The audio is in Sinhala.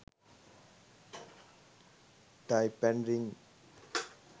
type an ring